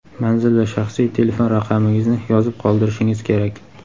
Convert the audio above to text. manzil va shaxsiy telefon raqamingizni yozib qoldirishingiz kerak.